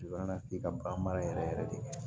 ka ban baara yɛrɛ yɛrɛ de